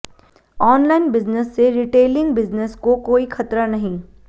online business से retailing business को कोई खतरा नहीं